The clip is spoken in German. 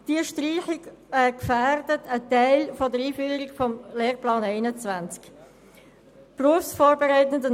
Diese Streichung gefährdet einen Teil der Einführung des Lehrplans 21.